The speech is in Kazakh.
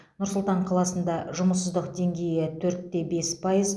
нұр сұлтан қаласында жұмыссыздық деңгейі төрт те бес пайыз